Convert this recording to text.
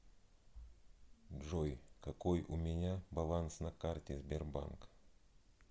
джой какой у меня баланс на карте сбербанк